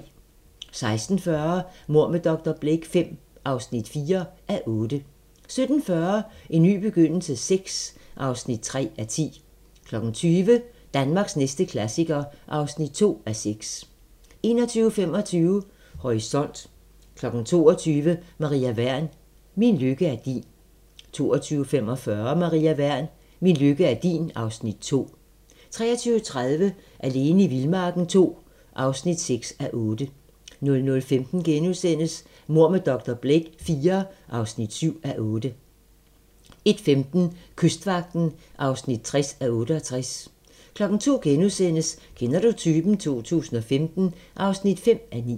16:40: Mord med dr. Blake V (4:8) 17:40: En ny begyndelse VI (3:10) 20:00: Danmarks næste klassiker (2:6) 21:25: Horisont 22:00: Maria Wern: Min lykke er din 22:45: Maria Wern: Min lykke er din (Afs. 2) 23:30: Alene i vildmarken II (6:8) 00:15: Mord med dr. Blake IV (7:8)* 01:15: Kystvagten (60:68) 02:00: Kender du typen? 2015 (5:9)*